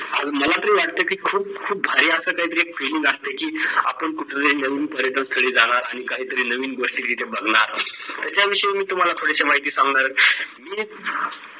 कारण मला तरी वाटतं की खूप खूप भारी असं काही तरी एक feeling असते की, आपण कुठंतरी नवीन पर्यटन स्थळी जाणार आणि काहीतरी नवीन गोष्टी तिथे बघणार त्याच्या विषयी मी तुम्हाला थोडीशी माहिती सांगणार आहे. मी